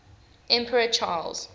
emperor charles